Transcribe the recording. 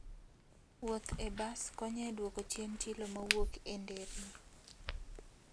Wuoth e bas konyo e duoko chien chilo mawuok e nderni.